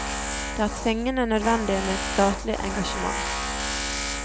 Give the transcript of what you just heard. Det er tvingende nødvendig med et statlig engasjement.